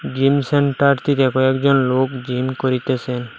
Gym centre থেকে কয়েকজন লোক জিম করিতেসেন।